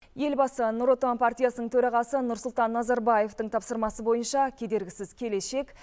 елбасы нұр отан партиясының төрағасы нұрсұлтан назарбаевтың тапсырмасы бойынша кедергісіз келешек